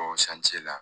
la